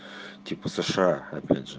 типа сша опять же